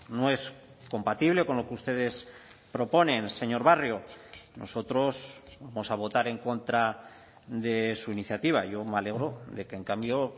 no es compatible con lo que ustedes proponen señor barrio nosotros vamos a votar en contra de su iniciativa yo me alegro de que en cambio